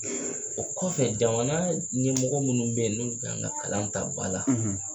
O kɔfɛ, jamana ɲɛmɔgɔ minnu bɛ yen n'olu kan ka kalan ta ba la,